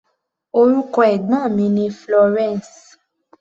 Orúkọ ẹ̀gbọ́n mi ni Florence.